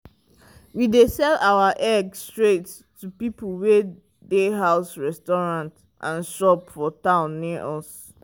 we dey sell our egg straight to people wey dey house restaurants and shop for town wey near us.